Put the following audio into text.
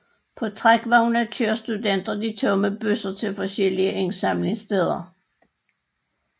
På trækvogne kører studenter de tomme bøsser til forskellige indsamlingssteder